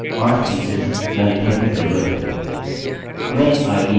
यहाँ पर 5 fields हैं अतः हमें डेटाबेस के ठीक 5 पीसेस यहाँ लिखने की जरूरत है